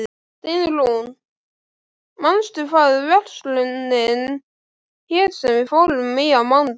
Steinrún, manstu hvað verslunin hét sem við fórum í á mánudaginn?